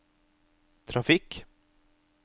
trafikk